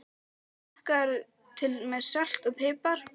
Svo smakkarðu til með salti og pipar.